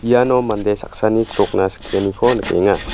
iano mande saksani chrokna skianiko nikenga.